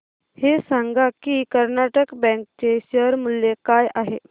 हे सांगा की कर्नाटक बँक चे शेअर मूल्य काय आहे